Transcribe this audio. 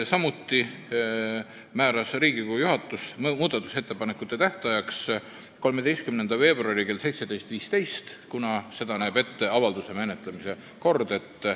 Samuti määras Riigikogu juhatus muudatusettepanekute tähtajaks 13. veebruari kell 17.15, kuna nii näeb ette avalduse menetlemise kord.